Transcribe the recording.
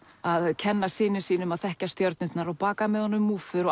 að kenna syni sínum að þekkja stjörnurnar og baka með honum múffur